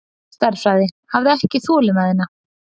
Stærðfræði, hafði ekki þolinmæðina.